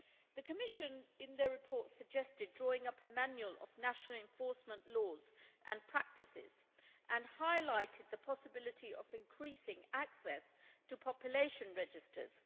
The Commission, in its report, suggested drawing up a manual of national enforcement laws and practices and highlighted the possibility of increasing access to population registers.